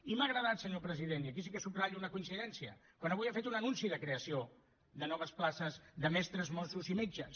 i m’ha agradat senyor president i aquí sí que subratllo una coincidència quan avui ha fet un anunci de creació de noves places de mestres mossos i metges